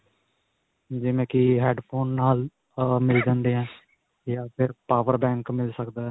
ਜਿਵੇਂ ਕਿ head phone ਨਾਲ ਅਅ ਮਿਲ ਜਾਂਦੇ ਆ ਜਾਂ ਫਿਰ power bank ਮਿਲ ਸਕਦਾ ਹੈ.